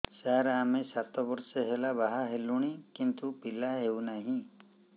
ସାର ଆମେ ସାତ ବର୍ଷ ହେଲା ବାହା ହେଲୁଣି କିନ୍ତୁ ପିଲା ହେଉନାହିଁ